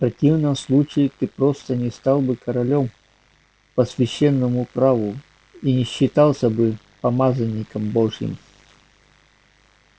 в противном случае ты просто не стал бы королём по священному праву и не считался бы помазанником божьим